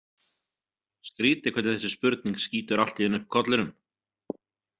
Skrýtið hvernig þessi spurning skýtur allt í einu upp kollinum.